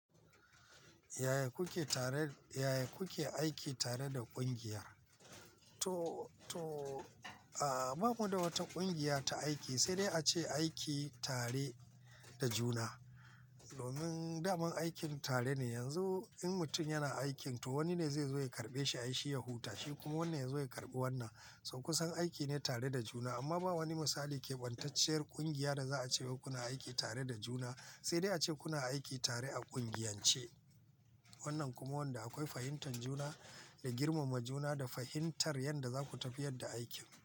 Yaya kuke tare, yaya kuke aiki tare da ƙungiya? To, to, ba mu da wata ƙungiya ta aiki, sai dai ace aiki tare da juna. Domin daman aikin tare ne. Yanzu in mutum yana aikin to wani ne zai zo ya karɓe shi, ai shi ya huta, shi kuma wanda ya zo ya karɓi wannan. Saukusan aiki ne tare da juna, amma ba wani misali keɓantacciyar ƙungiya da za a ce ku na aiki tare da juna, sai dai ace ku na aiki tare a ƙungiyance. Wannan kuma wanda akwai fahimtar juna da girmama juna da fahimtar yadda za ku tafiyar da aikin.